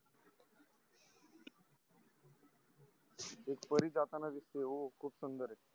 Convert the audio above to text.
एक परी जातांना दिसते हो खूप सुंदर आहे